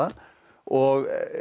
og